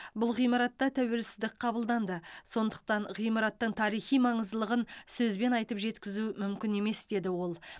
бұл ғимаратта тәуелсіздік қабылданды сондықтан ғимараттың тарихи маңыздылығын сөзбен айтып жеткізу мүмкін емес деді ол